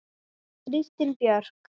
Kristín Björk.